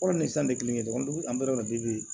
Wari ni san de kelen kelen don an bɛ yɔrɔ min